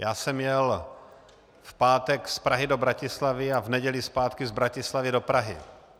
Já jsem jel v pátek z Prahy do Bratislavy a v neděli zpátky z Bratislavy do Prahy.